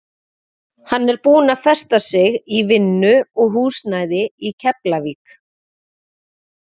Hann er búinn að festa sig í vinnu og húsnæði í Keflavík.